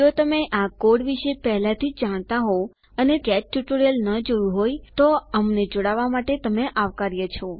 જો તમે આ કોડ વિશે પહેલાથી જ જાણતા હોઉં અને તમે ગેટ ટ્યુટોરીયલ ન જોયું હોય તો અમને જોડાવા માટે તમે આવકાર્ય છે